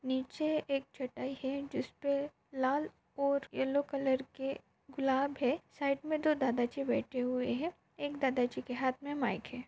नीचे एक चटाई है जिसपे लाल और येल्लो कलर के गूलब है साइड मे दो दादा जी बेटे हुए है एक दादाजी के हात मे माईक है।